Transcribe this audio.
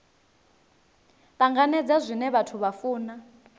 tanganedza zwine vhathu vha funa